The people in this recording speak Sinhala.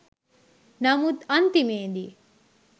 නමුත් අන්තිමේ දී